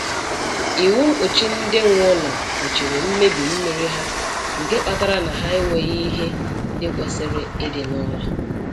Iwu mkpuchi ndị nwe ụlọ kpuchiri mmebi mmiri ha nke kpatara na ha enweghị ihe ndị kwesịrị ịdị n'ụlọ